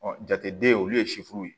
jateden olu ye ye